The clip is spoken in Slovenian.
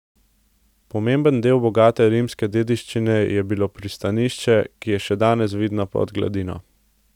Pomemben del bogate rimske dediščine je bilo pristanišče, ki je še danes vidno pod gladino.